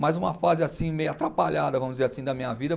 Mas uma fase assim meio atrapalhada, vamos dizer assim, da minha vida.